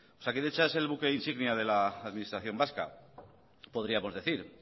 osakidetza es el buque insignia de la administración vasca podríamos decir